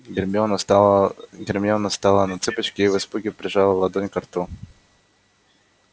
гермиона стала гермиона стала на цыпочки и в испуге прижала ладонь ко рту